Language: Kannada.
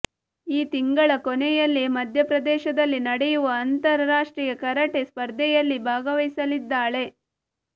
ಈ ತಿಂಗಳ ಕೊನೆಯಲ್ಲಿ ಮಧ್ಯಪ್ರದೇಶದಲ್ಲಿ ನಡೆಯುವ ಅಂತರ ರಾಷ್ಟ್ರೀಯ ಕರಾಟೆ ಸ್ಪರ್ಧೆಯಲ್ಲಿ ಭಾಗವಹಿಸಲಿದ್ದಾಳೆ